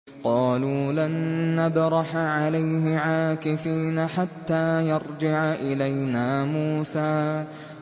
قَالُوا لَن نَّبْرَحَ عَلَيْهِ عَاكِفِينَ حَتَّىٰ يَرْجِعَ إِلَيْنَا مُوسَىٰ